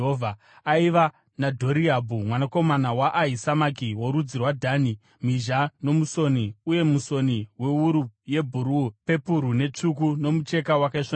aiva naDhoriabhu mwanakomana waAhisamaki, worudzi rwaDhani, mhizha nomusoni, uye musoni wewuru yebhuruu, pepuru netsvuku nomucheka wakaisvonaka.